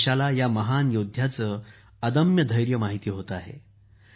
आज देशाला या महान योद्ध्याचे अदम्य धैर्य माहिती होते आहे